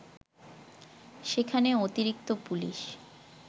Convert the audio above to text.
সেখানে অতিরিক্ত পুলিশ